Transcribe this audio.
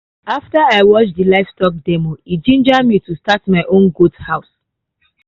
after i watch di livestock demo e ginger me to start my own goat house.